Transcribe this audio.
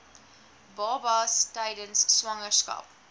babas tydens swangerskap